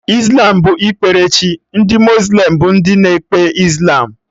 Islam bụ ikpere chi, ndị muslim bụ ndị na-ekpe Islam